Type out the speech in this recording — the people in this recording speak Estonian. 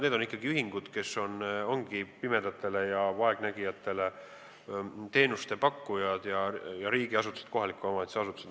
Need on ikkagi ühingud, kes ongi pimedatele ja vaegnägijatele teenuste pakkujad, ja riigiasutused, samuti kohaliku omavalitsuse asutused.